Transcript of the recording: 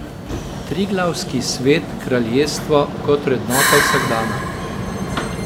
Triglavski svet, kraljestvo, kot vrednota vsakdana.